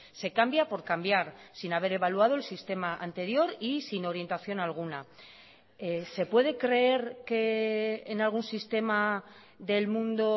se cambia por cambiar sin haber evaluado el sistema anterior y sin orientación alguna se puede creer que en algún sistema del mundo